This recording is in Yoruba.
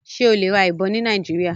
Ṣe o le ra ibon ni Nigeria?